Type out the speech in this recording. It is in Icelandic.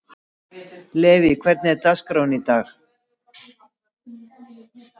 Levý, hvernig er dagskráin í dag?